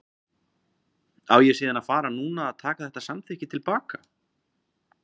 Á ég síðan að fara núna að taka þetta samþykki til baka?